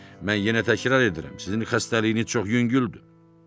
Mən yenə təkrar edirəm: sizin xəstəliyiniz çox yüngüldür.